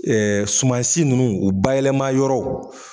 Ɛɛ sumansi nunnu u bayɛlɛma yɔrɔw